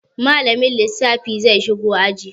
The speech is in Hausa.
Malamin lissafi zai shigo aji.